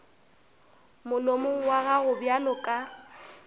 molomong wa gago bjalo ka